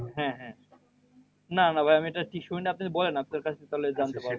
হ্যাঁ হ্যাঁ, না না ভাই আমি এটা ঠিক শুনি নাই আপনি বলেন আপনার কাছ থেকে তাহলে জানতে পারবো